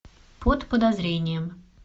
под подозрением